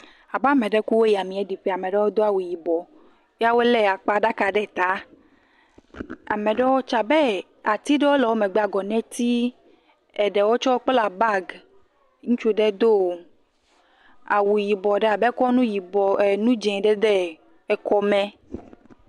Abe ame ɖe ku woyi amee ɖiƒe. Ame ɖewo do awu yibɔ ya wole akpa ɖaka ɖe ta. Ati ɖewo le wo megbe, agɔneti. Eɖewo tse wokpla bag. Ŋutsu ɖe do awu yibɔ ɖe abe kɔ nu dzẽ ɖe ekɔme.